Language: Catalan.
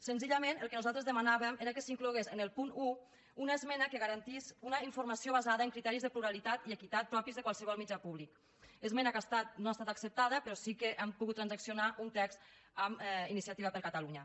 senzillament el que nosaltres demanàvem era que s’inclogués en el punt un una esmena que garantís una informació basada en criteris de pluralitat i equitat propis de qualsevol mitjà públic esmena que no ha estat acceptada però sí que hem pogut transaccionar un text amb iniciativa per catalunya